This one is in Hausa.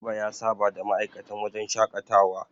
Garba ya saba da ma'aikatan wajen shaƙatawa.